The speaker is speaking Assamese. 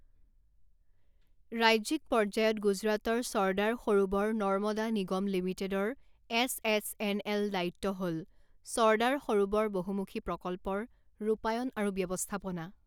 ৰাজ্যিক পৰ্যায়ত গুজৰাটৰ চৰ্দাৰ সৰোবৰ নৰ্মদা নিগম লিমিটেডৰ এছ এছ এন এল দায়িত্ব হ'ল চৰ্দাৰ সৰোবৰ বহুমুখী প্ৰকল্পৰ ৰূপায়ণ আৰু ব্যৱস্থাপনা।